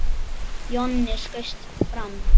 Jonni skaust fram.